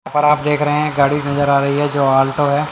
आप देख रहे हैं गाड़ी नजर आ रही है जो आल्टो है।